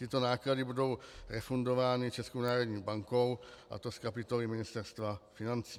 Tyto náklady budou refundovány Českou národní bankou, a to z kapitoly Ministerstva financí.